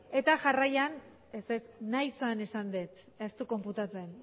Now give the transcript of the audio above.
eta jarraian ez ez nahi zen esan dut ez du konputatzen